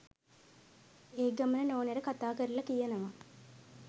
ඒගමන නෝනට කතා කරල කියනවා